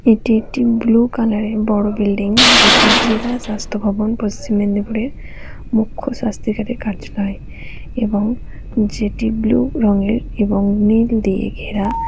এটি একটি blue colour এর বড়ো বিল্ডিং । যেটি জেলা স্বাস্থ্য ভবন পশ্চিম মেদিনীপুরের মুখ্য স্বাস্থ্য অধিকারের কার্যালয় এবং যেটি ব্লু রঙের এবং নীল দিয়ে ঘেরা।